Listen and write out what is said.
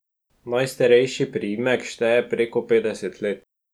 Najstarejši primerek šteje preko petdeset let.